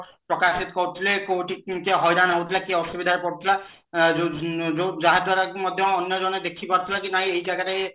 ପ୍ରକାଶିତ କରୁଥିଲେ କୋଉଠି କିଏ ହଇରାଣ ହଉଥିଲା କିଏ ଅସୁବିଧାରେ ପଡୁଥିଲା ଅ ଯୋଉ ଯୋଉ ଯାହା ଦ୍ଵାରା କି ମଧ୍ୟ ଅନ୍ୟ ଜଣେ ଦେଖିପାରୁଥିଲା କି ନାଇଁ ଏଇ ଜାଗାରେ